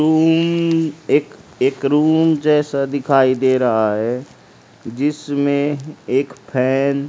room एक एक room जैसा दिखाई दे रहा है जिसमें एक फैन --